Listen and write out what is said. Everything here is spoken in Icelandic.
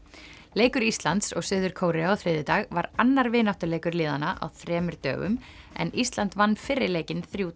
leikur Íslands og Suður Kóreu á þriðjudag var annar vináttuleikur liðanna á þremur dögum en Ísland vann fyrri leikinn þremur